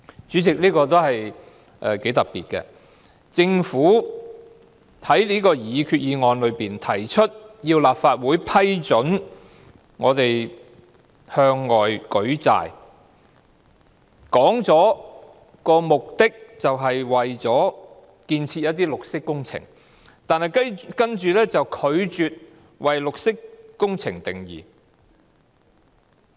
主席，這個解釋頗為特別，政府在擬議決議案中要求立法會批准政府向外舉債，表明目的是推行綠色工程，但卻拒絕為綠色工程下定義。